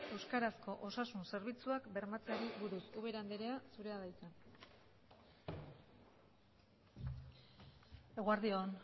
euskarazko osasun zerbitzuak bermatzeari buruz ubera andrea zurea da hitza eguerdi on